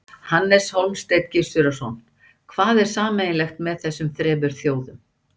Hannes Hólmsteinn Gissurarson: Hvað er sameiginlegt með þessum þremur þjóðum?